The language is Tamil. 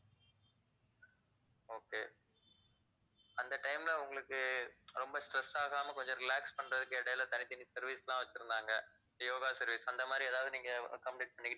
okay அந்த time ல உங்களுக்கு ரொம்ப stress ஆகாம கொஞ்சம் relax பண்றதுக்கு இடையில தனித்தனி service லாம் வச்சுருந்தாங்க yoga service அந்த மாதிரி ஏதாவது நீங்க complete பண்ணிக்கிட்~